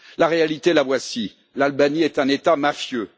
La réalité, la voici l'Albanie est un État mafieux